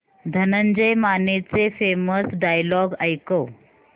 धनंजय मानेचे famous dialogue ऐकव